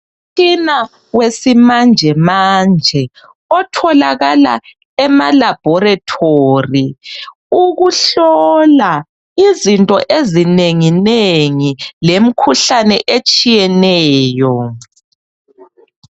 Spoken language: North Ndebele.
Umtshina wesimanjemanje otholakala emalaboratory ukuhlola izinto ezinenginengi lemkhuhlane etshiyeneyo.